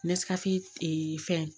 fɛn